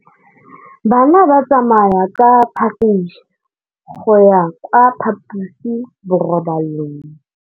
Bana ba tsamaya ka phašitshe go ya kwa phaposiborobalong.